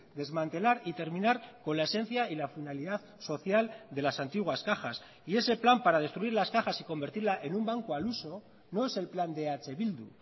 desmantelar y terminar con la esencia y la finalidad social de las antiguas cajas y ese plan para destruir las cajas y convertirla en un banco al uso no es el plan de eh bildu